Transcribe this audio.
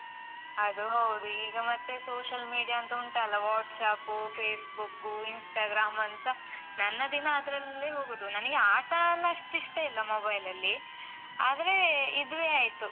ಅದು ಹೌದು. ಈಗ ಮತ್ತೆ social media ಅಂತ ಉಂಟಲ್ಲ, WhatsApp, Facebook, Instagram ಅಂತ, ನನ್ನ ದಿನ ಅದ್ರಲ್ಲೇ ಹೋಗುದು. ನನಿಗೆ ಆಟ ಎಲ್ಲ ಅಷ್ಟಿಷ್ಟ ಇಲ್ಲ mobile ಅಲ್ಲಿ ಆದ್ರೆ, ಇದುವೇ ಆಯ್ತು.